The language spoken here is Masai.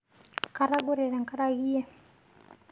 Katogore tangareke iyie